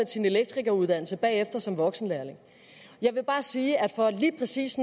sin elektrikeruddannelse bagefter som voksenlærling jeg vil bare sige at for lige præcis